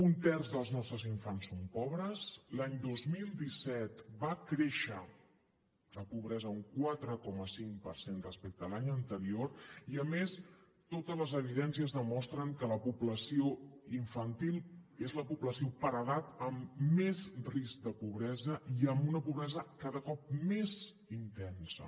un terç dels nostres infants són pobres l’any dos mil disset va créixer la pobresa un quatre coma cinc per cent respecte a l’any anterior i a més totes les evidències demostren que la població infantil és la població per edat amb més risc de pobresa i amb una pobresa cada cop més intensa